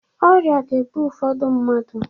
Ọrịa ga-egbu ụfọdụ mmadụ.